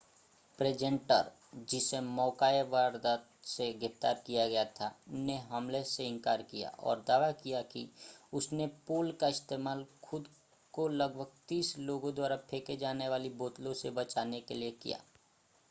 presenter जिसे मौका-ए-वारदात से गिरफ़्तार किया गया था ने हमले से इनकार किया और दावा किया कि उसने पोल का इस्तेमाल खुद को लगभग तीस लोगों द्वारा फेंके जाने वाली बोतलों से बचाने के लिए किया